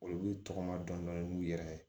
Olu tɔgɔma dɔndɔni n'u yɛrɛ ye